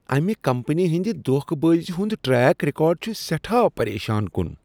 امہ کمپنی ہنٛدِ دھوکہٕ بٲزی ہُند ٹریک ریکارڈ چھ سیٹھاہ پریشان کن۔